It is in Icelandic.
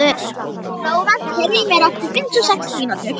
Flóvent, heyrðu í mér eftir fimmtíu og sex mínútur.